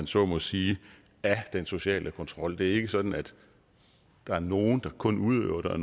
så må sige af den sociale kontrol det er ikke sådan at der er nogen der kun udøver den og